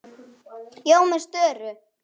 Ég var með störu.